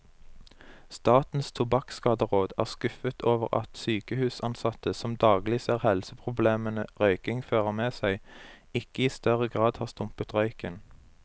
Statens tobakkskaderåd er skuffet over at sykehusansatte, som daglig ser helseproblemene røykingen fører med seg, ikke i større grad har stumpet røyken.